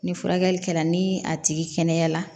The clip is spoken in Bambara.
Ni furakɛli kɛra ni a tigi kɛnɛyara